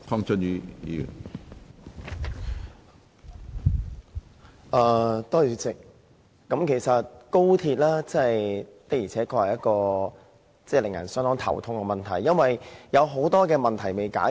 主席，高鐵的確令人相當頭痛，因為有很多問題尚未解決。